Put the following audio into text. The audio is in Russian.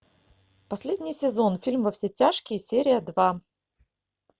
последний сезон фильм во все тяжкие серия два